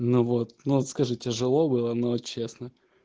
ну вот скажи тяжело было но честно